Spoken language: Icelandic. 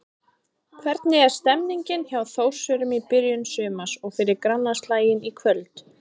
Hvernig er stemningin hjá Þórsurum í byrjun sumars og fyrir grannaslaginn í kvöld?